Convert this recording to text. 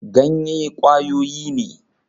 Ganye kwayoyi ne